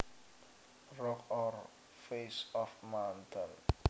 A rock or face of a mountain